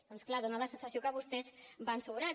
doncs clar dona la sensació que vostès van sobrats